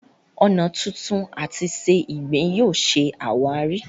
ọnà tuntun àti se ìgbín yóò ṣe àwáàrí.